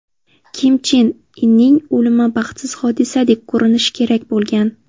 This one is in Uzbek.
Kim Chen Inning o‘limi baxtsiz hodisadek ko‘rinishi kerak bo‘lgan.